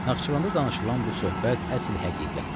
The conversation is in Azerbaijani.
Naxçıvanda danışılan bu söhbət əsl həqiqətdir.